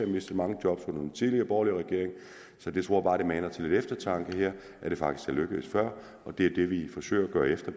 mistet mange job under den tidligere borgerlige regering så jeg tror bare det må mane til lidt eftertanke her at det faktisk er lykkedes før og det er det vi forsøger at gøre efter